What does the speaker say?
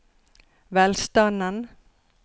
velstanden